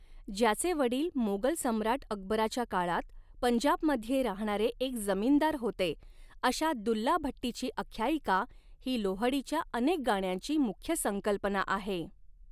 ज्याचे वडील मोगल सम्राट अकबराच्या काळात पंजाबमध्ये राहणारे एक जमीनदार होते अशा दुल्ला भट्टीची आख्यायिका ही लोहडीच्या अनेक गाण्यांची मुख्य संकल्पना आहे.